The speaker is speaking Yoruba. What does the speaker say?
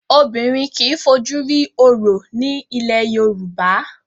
Obìnrin kì í fojú rí Orò ní ilẹ̀ Yorùbá.